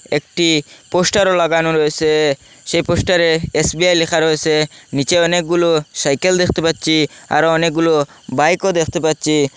একটি পোস্টারও লাগানো রয়েসে সেই পোস্টারে এস_বি_আই লেখা রয়েসে নীচে অনেকগুলো সাইকেল দেখতে পাচ্চি আরো অনেকগুলো বাইকও দেখতে পাচ্চি।